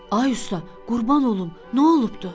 Ay usta, qurban olum, nə olubdu?